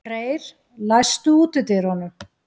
Reyr, læstu útidyrunum.